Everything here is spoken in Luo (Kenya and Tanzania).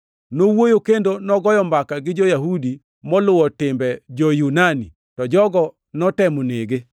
Nowuoyo kendo nogoyo mbaka gi jo-Yahudi moluwo timbe jo-Yunani, to jogo notemo nege.